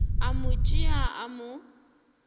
a mo tšea a mo